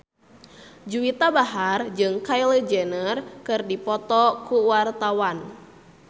Juwita Bahar jeung Kylie Jenner keur dipoto ku wartawan